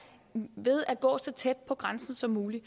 ved at gå så tæt på grænsen som muligt